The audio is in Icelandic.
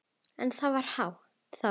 En það var þá.